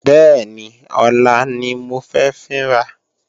Bẹ́ẹ̀ni, ọlá ni mo fẹ́ fín ra